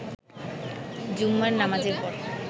জুম্মার নামাজের পর